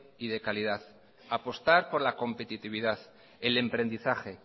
y de calidad apostar por la competitividad el emprendizaje